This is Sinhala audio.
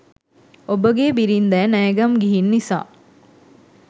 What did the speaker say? ඔබගේ බිරින්ඳෑ නෑගම් ගිහින් නිසා